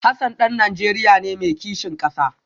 Hassan dan Najeriya ne mai kishin kasa